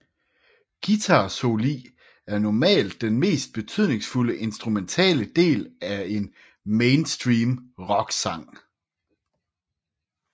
Guitarsoli er normalt den mest betydningsfulde instrumentale del af en mainstream rocksang